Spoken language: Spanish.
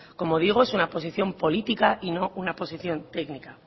como digo es una posición política y no una posición técnica